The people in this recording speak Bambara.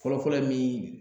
Fɔlɔ-fɔlɔ ye min ye